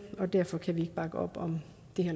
og derfor kan vi ikke bakke op om